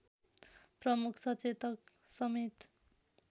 प्रमुख सचेतक समेत